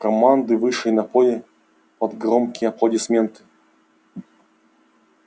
команды вышли на поле под громкие аплодисменты